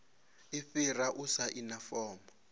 i fhira u saina fomo